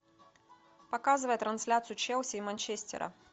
показывай трансляцию челси и манчестера